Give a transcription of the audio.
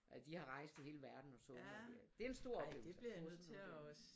Og de har rejst i hele verden og sunget og det er en stor oplevelse